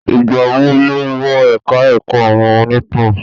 Ìgbà wo ló wọ ẹ̀ka ẹ̀kọ́ àwọn onítàn?